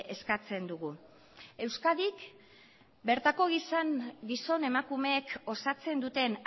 eskatzen dugu euskadik bertako gizon emakumeek osatzen duten